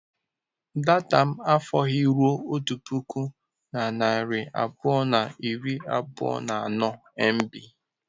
Data m afọghị ruo otu puku na narị abụọ na iri abụọ na anọ mb.